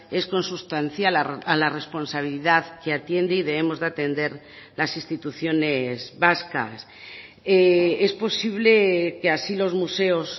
es consustancial a la responsabilidad que atiende y debemos de atender las instituciones vascas es posible que así los museos